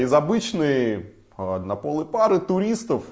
из обычны однополой пары туристов